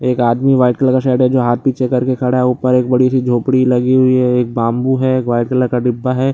एक आदमी white colour का शर्ट है जो हाथ पीछे करके खड़ा है ऊपर एक बड़ी सी झोपड़ी लगी हुई है एक बाम्बू है एक व्हाइट कलर का डिब्बा है।